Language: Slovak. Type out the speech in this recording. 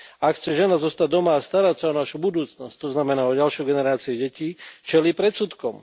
Ak chce žena zostať doma a starať sa o našu budúcnosť, to znamená o ďalšiu generáciu detí, čelí predsudkom.